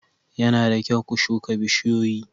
Yana da kyau ku shuka bishiyoyi.